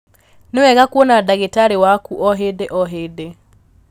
Nĩwega kuona ndagĩtarĩ waku o hĩndĩ o hĩndĩ.